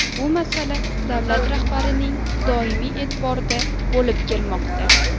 Bu masala davlat rahbarining doimiy e’tiborida bo‘lib kelmoqda.